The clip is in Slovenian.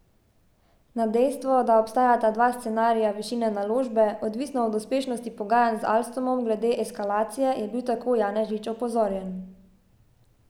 Na dejstvo, da obstajata dva scenarija višine naložbe, odvisno od uspešnosti pogajanj z Alstomom glede eskalacije, je bil tako Janežič opozorjen.